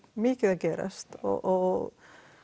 mikið að gerast og